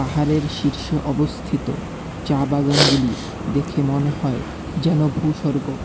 পাহাড়ের শীর্ষে অবস্থিত চা বাগানগুলি দেখে মনে হয় যেন ভূস্বর্গ।